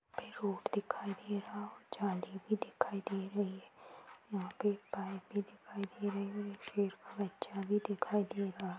पे रोड दिखाई दे रहा और जाली भी दिखाई दे रही है यहा पे एक पाइप भी दिखाई दे रही है और एक शेर दिखाई दे रहा--